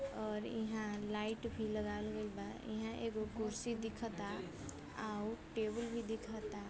और इहां लाइट भी लगावल गईल बा। इन्हां एगो कुर्सी दिखता और टेबल भी दिखता।